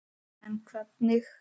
En hvernig?